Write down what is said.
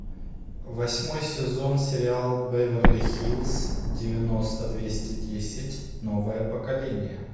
восьмой сезон сериал беверли хиллз девяносто двести десять новое поколение